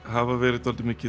hafa verið dálítið